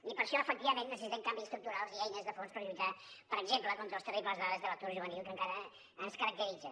i per això efectivament necessitem canvis estructurals i eines de fons per lluitar per exemple contra les terribles dades de l’atur juvenil que encara ens caracteritzen